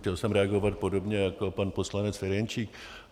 Chtěl jsem reagovat podobně jako pan poslanec Ferjenčík.